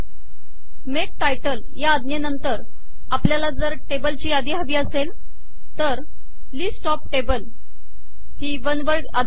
make title या आज्ञेनंतर आपल्याला जर टेबल ची यादी हवी असेल तर वन वर्ड ही आज्ञा